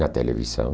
Na televisão.